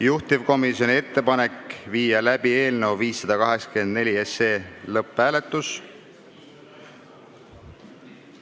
Juhtivkomisjoni ettepanek on panna eelnõu 584 lõpphääletusele.